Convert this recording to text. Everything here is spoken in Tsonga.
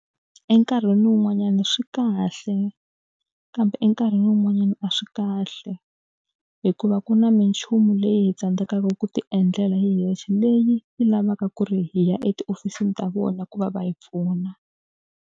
Enkarhini wun'wanyana swi kahle, kambe nkarhi wun'wanyana a swi kahle hikuva ku na minchumu leyi hi tsandzekaka ku ti endlela hi hexe leyi yi lavaka ku ri hi ya etihofisini ta vona ku va va yi pfuna.